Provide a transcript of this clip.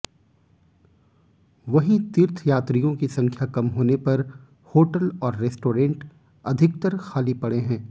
वहीं तीर्थयात्रियों की संख्या कम होने पर होटल और रेस्टोरेंट अधिकतर खाली पड़े हैं